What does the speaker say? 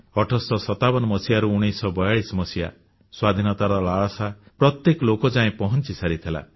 1857ରୁ 1942 ସ୍ୱାଧୀନତାର ଲାଳସା ପ୍ରତ୍ୟେକ ଲୋକ ଯାଏ ପହଂଚିସାରିଥିଲା